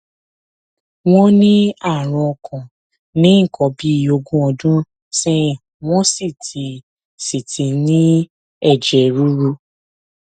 wọn ní àrùn ọkàn ní nǹkan bí ogún ọdún sẹyìn wọn sì ti sì ti ní ẹjẹ ríru